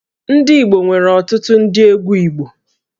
Ndị Igbo nwere ọtụtụ ndị egwú Igbo